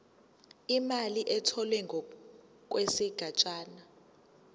imali etholwe ngokwesigatshana